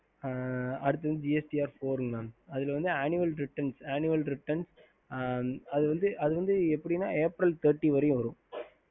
ஹம்